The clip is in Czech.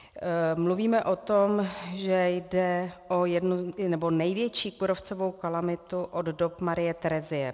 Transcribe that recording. Mluvíme o tom, že jde o největší kůrovcovou kalamitu od dob Marie Terezie.